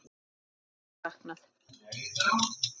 Hennar verður saknað.